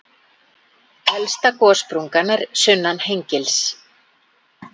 Elsta gossprungan er sunnan Hengils.